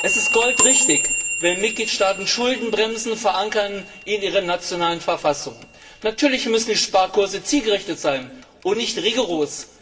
Es ist goldrichtig, wenn Mitgliedstaaten Schuldenbremsen in ihren nationalen Verfassungen verankern. Natürlich müssen die Sparkurse zielgerichtet sein und nicht rigoros.